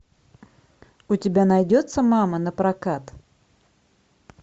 у тебя найдется мама напрокат